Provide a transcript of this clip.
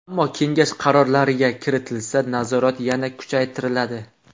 Ammo kengash qarorlariga kiritilsa, nazorat yana kuchaytiriladi.